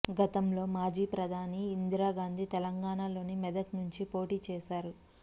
గతంలో మాజీ ప్రధాని ఇందిరాగాంధీ తెలంగాణలోని మెదక్ నుంచి పోటీ చేశారు